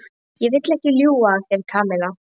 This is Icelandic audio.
Ég vil ekki ljúga að þér, Kamilla.